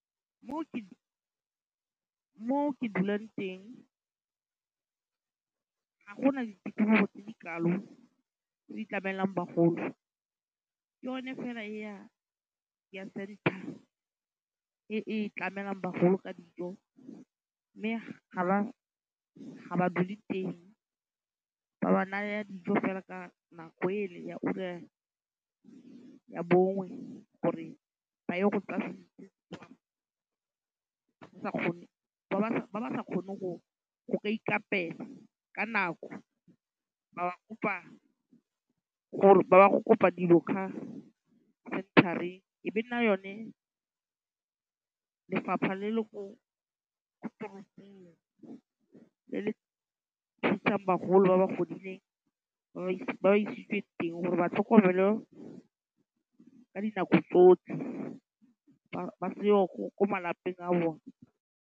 Mo ke dulang teng, go na le ditirelo tse di kalo tse di tlamelang bagolo. Ke yone fela ya e e tlamelang bagolo ka dijo. Mme ga ba dule teng. Ba ba naya dijo fela ka nako ele ya ura ya bongwe gore ba ye go ba ba sa kgoneng go ka ikaapela. Ka nako ba kopa gore ba ba go kopa dilo khaa centre-reng. E be nna yone lefapha le le ko toropong le le thusang bagolo ba ba godileng ba ba isitse teng gore batlhokomelwe ka dinako tsotlhe ba seyo ko malapeng a bone.